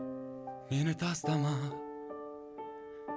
мені тастама